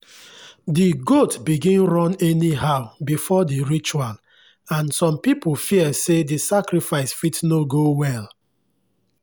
the goat begin run anyhow before the ritual and some people fear say the sacrifice fit no go well.